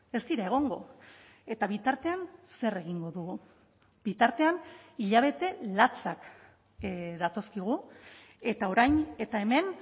ez dira egongo eta bitartean zer egingo dugu bitartean hilabete latzak datozkigu eta orain eta hemen